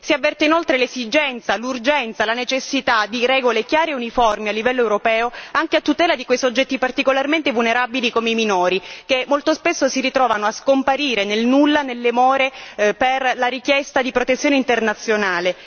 Si avverte inoltre l'esigenza, l'urgenza, la necessità di regole chiare e uniformi a livello europeo anche a tutela di quei soggetti particolarmente vulnerabili come i minori, che molto spesso si ritrovano a scomparire nel nulla, nelle more della richiesta di protezione internazionale.